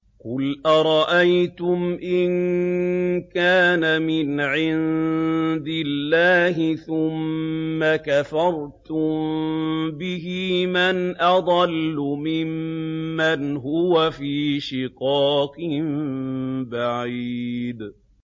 قُلْ أَرَأَيْتُمْ إِن كَانَ مِنْ عِندِ اللَّهِ ثُمَّ كَفَرْتُم بِهِ مَنْ أَضَلُّ مِمَّنْ هُوَ فِي شِقَاقٍ بَعِيدٍ